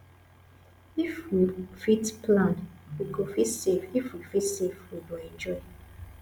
if we fit plan we go fit save if we fit save we go enjoy